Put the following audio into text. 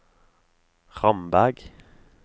Ramberg